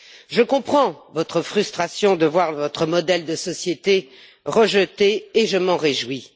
Je comprends votre frustration de voir votre modèle de société rejeté et je m'en réjouis.